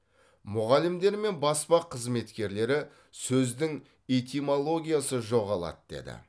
мұғалімдер мен баспа қызметкерлері сөздің этимологиясы жоғалады деді